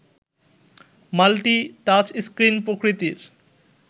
multi touchscreen প্রকৃতির